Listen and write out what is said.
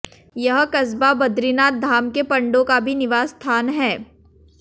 यह कस्बा बद्रीनाथ धाम के पंडों का भी निवास स्थान है